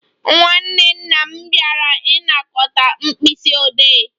Nwanne nna m bịara ịnakọta Mkpisiode